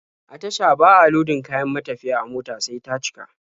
A tasha ba a lodin kayan matafiya a mota sai ta cika.